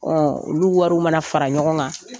Ɔ olu wariw mana fara ɲɔgɔn kan